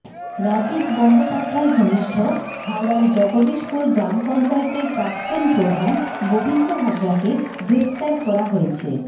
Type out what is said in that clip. রাজীব বন্দ্যোপাধ্যায় ঘনিষ্ঠ হাওড়ার জগদিশপুর গ্রাম পঞ্চায়েতের প্রাক্তন প্রধান গোবিন্দ হাজরাকে গ্রেফতার করা হয়েছে